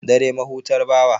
Dare, mahutar bawa.